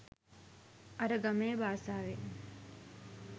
අර ගමේ බාසාවෙන්